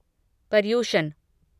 Paryushan